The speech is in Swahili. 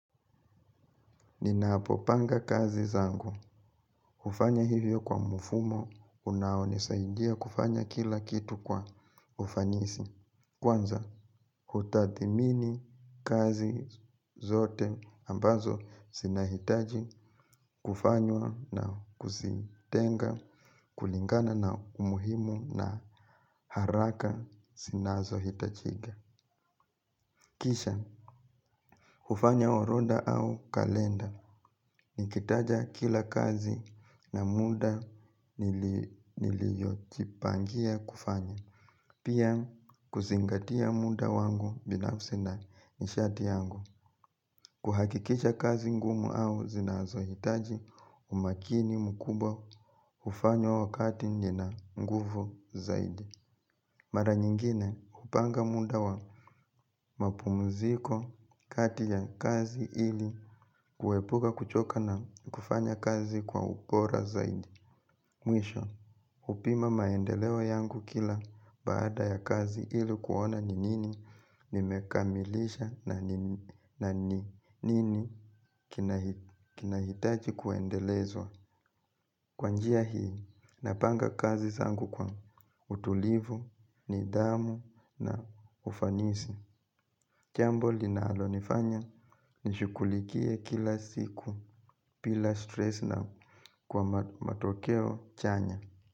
Ninapopanga kazi zangu, hufanya hivyo kwa mfumo, unaonisaidia kufanya kila kitu kwa ufanisi. Kwanza, hutathmini kazi zote ambazo zinahitaji kufanywa na kuzitenga kulingana na umuhimu na haraka zinazohitajika. Kisha, hufanya orodha au kalenda, nikitaja kila kazi na muda niliyojipangia kufanya. Pia, kuzingatia muda wangu binafsi na nishati yangu kuhakikisha kazi ngumu au zinazohitaji umakini mkubwa hufanywa wakati nina nguvu zaidi. Mara nyingine hupanga muda wa mapumziko kati ya kazi ili kuepuka kuchoka na kufanya kazi kwa ubora zaidi. Mwisho hupima maendeleo yangu kila baada ya kazi ili kuona ni nini nimekamilisha na ni nini kinahitaji kuendelezwa. Kwa njia hii, napanga kazi zangu kwa utulivu, nidhamu na ufanisi. Jambo linalonifanya nishughulikie kila siku bila stress na kwa matokeo chanya.